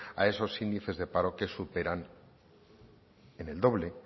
a esos índices de paro que superan en el doble